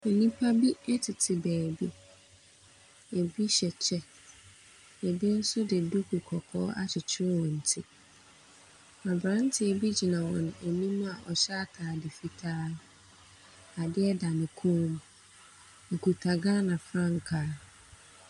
Nnipa bi tete baabi. Bi hyɛ kyɛ, na bi nso de duku kɔkɔɔ akyekyere wɔn ti. Aberanteɛ bi gyina wɔn anim a ɔhyɛ atade fitaa. Adeɛ da ne kɔn mu. Ɔkita Ghana frankaa.